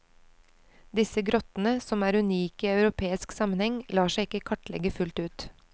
Disse grottene, som er unike i europeisk sammenheng, lar seg ikke kartlegge fullt ut.